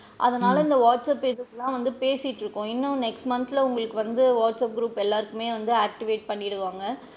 அதனால இந்த WhatsApp pages லா வந்து பேசிட்டு இருக்கோம் இன்னும் next month ல உங்களுக்கு வந்து வாட்ஸ் ஆப் group எல்லாருக்குமே வந்து activate பண்ணிடுவாங்க.